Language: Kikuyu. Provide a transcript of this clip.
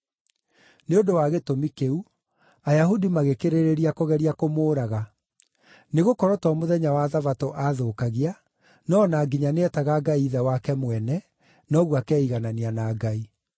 Nĩ ũndũ wa gĩtũmi kĩu, Ayahudi magĩkĩrĩrĩria kũgeria kũmũũraga; nĩgũkorwo to mũthenya wa Thabatũ aathũkagia, no o na nginya nĩetaga Ngai ithe wake mwene, na ũguo akeiganania na Ngai.